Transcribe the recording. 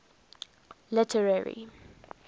literary